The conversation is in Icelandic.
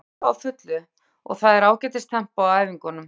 Við erum að æfa á fullu og það er ágætis tempó á æfingunum.